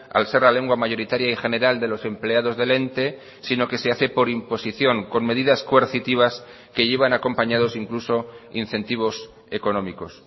al ser la lengua mayoritaria y general de los empleados del ente sino que se hace por imposición con medidas coercitivas que llevan acompañados incluso incentivos económicos